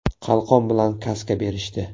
Qalqon bilan kaska berishdi.